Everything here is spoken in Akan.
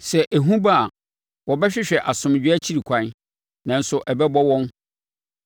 Sɛ ehu ba a, wɔbɛhwehwɛ asomdwoeɛ akyiri ɛkwan, nanso ɛbɛbɔ wɔn.